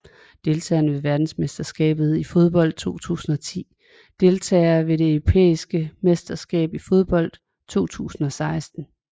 Deltagere ved verdensmesterskabet i fodbold 2010 Deltagere ved det europæiske mesterskab i fodbold 2016